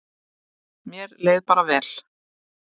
Mér leið bara vel.